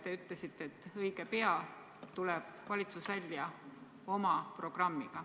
Te ütlesite, et õige pea tuleb valitsus välja oma programmiga.